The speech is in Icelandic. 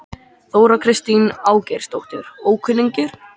Þóra Kristín Ásgeirsdóttir: Ókunnugir?